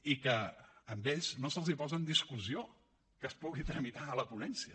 i que a ells no se’ls posa en discussió que es pugui tramitar a la ponència